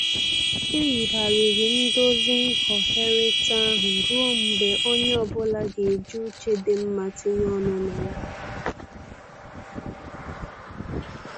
E yigharịrị ndozi nghọherita ahụ ruọ mgbe onye ọbụla ga-eji uche dị mma tinye ọnụ na ya.